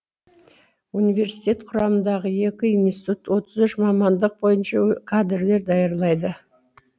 университет құрамындағы екі институт отыз үш мамандық бойынша кадрлар даярлайды